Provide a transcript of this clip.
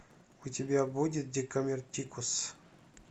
у тебя будет декамеротикус